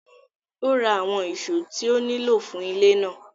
Ó ra àwọn ìṣó tí ó nílò fún ilé náà.